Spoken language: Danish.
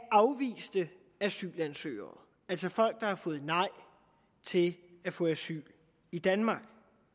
afviste asylansøgere altså folk der har fået nej til at få asyl i danmark